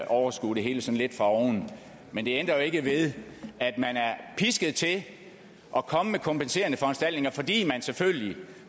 overskue det hele sådan lidt fra oven men det ændrer ikke ved at man er pisket til at komme med kompenserende foranstaltninger fordi man selvfølgelig